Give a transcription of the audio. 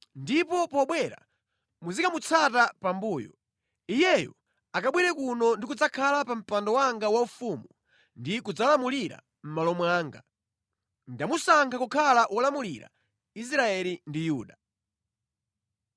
Ndipo pobwera muzikamutsata pambuyo. Iyeyo akabwere kuno ndi kudzakhala pa mpando wanga waufumu ndi kudzalamulira mʼmalo mwanga. Ndamusankha kukhala wolamulira Israeli ndi Yuda.”